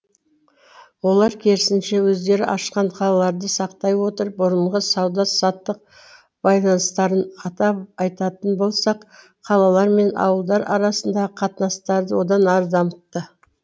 олар керісінше өздері ашқан қалаларды сақтай отырып бұрынғы сауда саттық байланыстарын атап айтатын болсақ қалалар мен ауылдар арасындағы қатынастарды одан ары дамытты